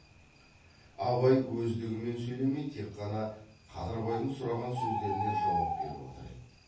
абай өздігімен сөйлемей тек қана қадырбайдың сұраған сөздеріне жауап беріп отыр еді